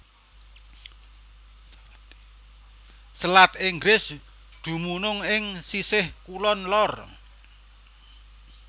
Selat Inggris dumunung ing sisih kulon lor